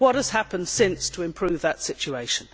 What has happened since to improve that situation?